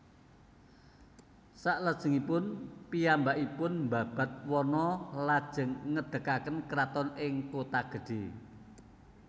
Salajengipun piyambakipun mbabad wana lajeng ngadegaken kraton ing Kotagedhé